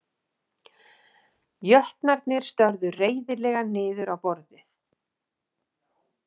Jötnarnir störðu reiðilega niður á borðið.